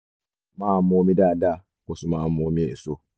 máa mu omi dáadáa kó o sì máa mu omi èso